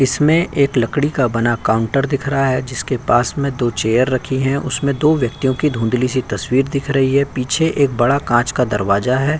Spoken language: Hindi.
इसमें एक लड़की का बना काउंटर दिख रहा है जिसके पास में दो चेयर रखी हैं। उसमें दो व्यक्तियों को धुंधली-सी तस्वीर दिख रही है। पीछे एक बड़ा कांच का दरवाजा है।